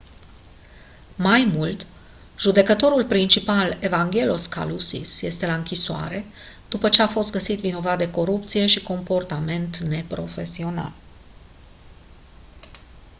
mai mult judecătorul principal evangelos kalousis este la închisoare după ce a fost găsit vinovat de corupție și comportament neprofesional